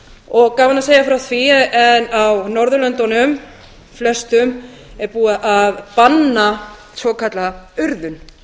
gaman að segja frá því að á norðurlöndunum flestum er búið að banna svokallaða urðun